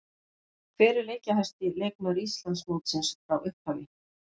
Hver er leikjahæsti leikmaður Íslandsmótsins frá upphafi?